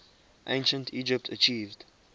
ancient egypt achieved